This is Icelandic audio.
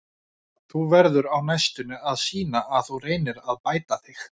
Þú verður á næstunni að sýna að þú reynir að bæta þig.